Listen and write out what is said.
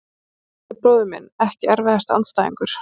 Hlynur Atli bróðir minn Ekki erfiðasti andstæðingur?